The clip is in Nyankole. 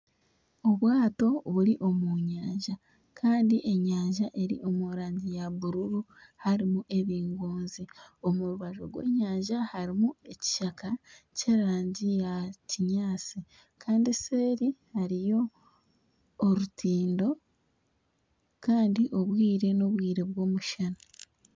Obwato buri omu nyanja kandi enyanja eri omu rangi eya bururu harimu ebingonzi omu rubaju rw'enyanja harimu ekishaka ky'erangi eya kinyaatsi kandi eseeri hariyo orutindo kandi obwire n'obwire bw'omushana